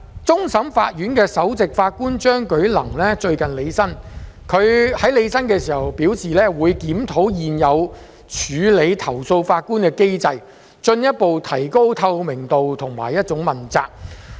終審法院首席法官張舉能最近履新，他表示會檢討現有處理投訴法官的機制，進一步提高透明度和問責性。